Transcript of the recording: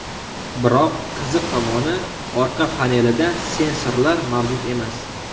Biroq qiziq tomoni orqa panelida sensorlar mavjud emas.